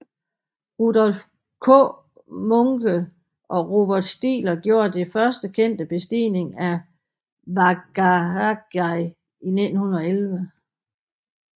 Rudolf Kmunke og Robert Stigler gjorde den første kendte bestigning af Wagagai i 1911